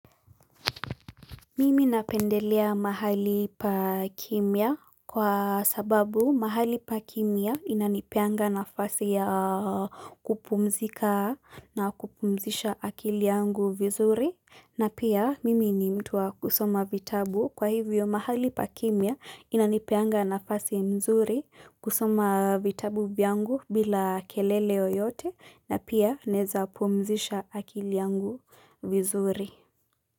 Mimi napendelea mahali pakimia kwa sababu mahali pakimia inanipeanga nafasi ya kupumzika na kupumzisha akili yangu vizuri na pia mimi ni mtu wa kusoma vitabu kwa hivyo mahali pakimia inanipeanga nafasi mzuri kusoma vitabu vyangu bila keleleo yote na pia naeza pumzisha akili yangu vizuri.